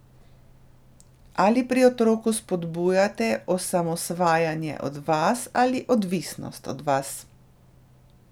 Ali pri otroku spodbujate osamosvajanje od vas ali odvisnost od vas?